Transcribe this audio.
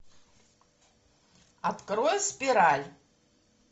открой спираль